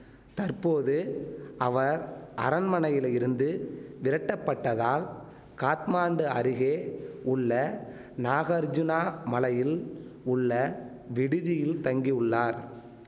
தற்போது அவர் அரண்மனையிலிருந்து விரட்டப்பட்டதால் காத்மாண்டு அருகே உள்ள நாகர்ஜுனா மலையில் உள்ள விடுதியில் தங்கியுள்ளார்